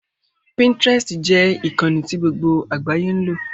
Pinterest jẹ́ ìkànnì tí gbogbo àgbáyé ń lò